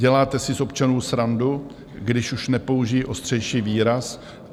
Děláte si z občanů srandu - když už nepoužiji ostřejší výraz?